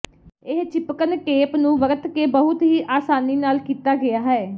ਇਹ ਿਚਪਕਣ ਟੇਪ ਨੂੰ ਵਰਤ ਕੇ ਬਹੁਤ ਹੀ ਆਸਾਨੀ ਨਾਲ ਕੀਤਾ ਗਿਆ ਹੈ